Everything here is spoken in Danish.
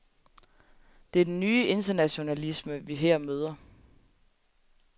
Det er den nye internationalisme, vi her møder.